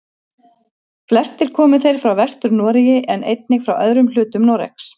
Flestir komu þeir frá Vestur-Noregi en einnig frá öðrum hlutum Noregs.